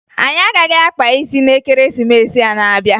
Anyị agaghị akpa isi na Ekeresimesi a n'abịa